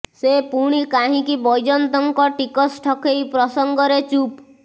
ସେ ପୁଣି କାହିକିଁ ବୈଜୟନ୍ତଙ୍କ ଟିକସ ଠକେଇ ପ୍ରସଙ୍ଗରେ ଚୁପ